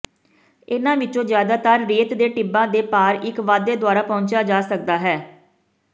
ਇਨ੍ਹਾਂ ਵਿੱਚੋਂ ਜ਼ਿਆਦਾਤਰ ਰੇਤ ਦੇ ਟਿੱਬਾਂ ਦੇ ਪਾਰ ਇੱਕ ਵਾਧੇ ਦੁਆਰਾ ਪਹੁੰਚਿਆ ਜਾ ਸਕਦਾ ਹੈ